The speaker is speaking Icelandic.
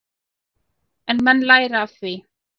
En menn læra af því.